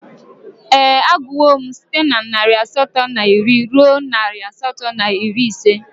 Ee, agụwo m site na narị asatọ na iri ruo narị asatọ na iri ise